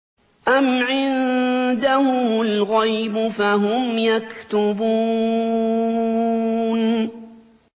أَمْ عِندَهُمُ الْغَيْبُ فَهُمْ يَكْتُبُونَ